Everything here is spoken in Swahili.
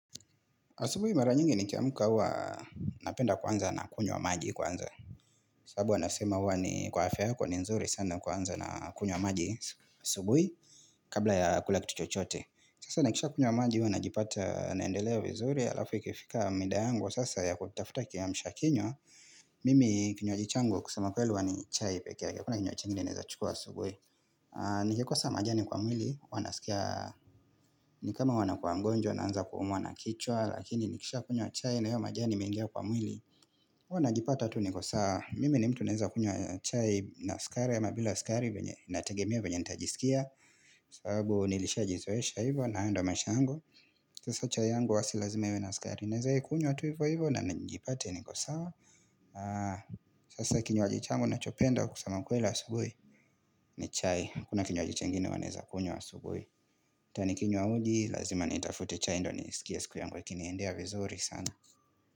Asubui mara nyingi nikiamuka hua napenda kuanza na kunywa maji kwanza. Sabu wanasema hua ni kwa afya yako ni nzuri sana kuanza na kunywa maji asubui kabla ya kula kitu chochote. Sasa nikisha kunywa maji hua najipata naendelea vizuri alafu ikifika mida yangu sasa ya kutafuta kiamshakinywa. Mimi kinywaji changu wa kusema kweli huwa ni chai pekeake hakuna kinywaji ingine naeza chukua asubui. Nikikosa majani kwa mwili huwa nasikia ni kama huwa nakua mgonjwa naanza kuumwa na kichwa. Lakini nikishakunywa chai na hio majani imeingia kwa mwili huwa najipata tu niko sawa Mimi ni mtu naeza kunywa chai na skari ama bila skari inategemea venye nya nitajisikia sababu nilisha jizoesha hivo na haya ndio maish yangu Sasa chai yangu huwa si lazima iwe na skari Naeza ikunywa tu hivo hivo na nijipate niko sawa Sasa kinywaji changu nachopenda kusema kweli asubui ni chai, hakuna kinywaji chengini huwa naeza kunywa asubui ata nikinywa uji, lazima nitafute chai ndo nisikie siku yangu yakiniendea vizuri sana.